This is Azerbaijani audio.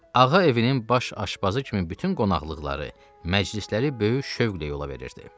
Ağa evinin baş aşbazı kimi bütün qonaqlıqları, məclisləri böyük şövqlə yola verirdi.